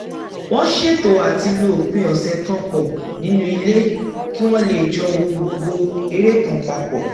wọ́n ṣètò àti lo òpin ọ̀sẹ̀ kan pọ̀ nínú ilé kí wọ́n lè j́ọ wo gbogbo eré kan pa pọ̀